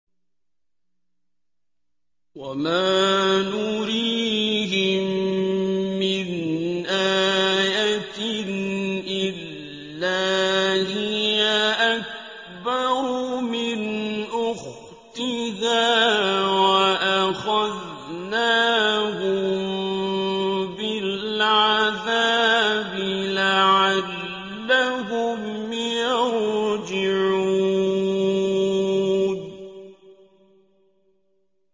وَمَا نُرِيهِم مِّنْ آيَةٍ إِلَّا هِيَ أَكْبَرُ مِنْ أُخْتِهَا ۖ وَأَخَذْنَاهُم بِالْعَذَابِ لَعَلَّهُمْ يَرْجِعُونَ